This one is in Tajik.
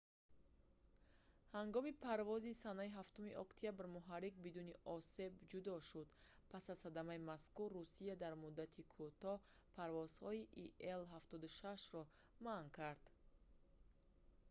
ҳангоми парвози санаи 7 октябр муҳаррик бидуни осеб ҷудо шуд. пас аз садамаи мазкур русия дар муддати кӯтоҳ парвозҳои ил-76-ҳоро манъ кард